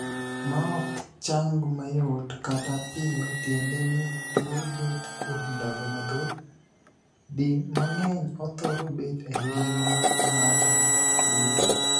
Maok chang mayot kata piyo tiende ni tuo bet kuom ndalo mathoth, di mang'eny othoro bet e ngima ng'ato duto.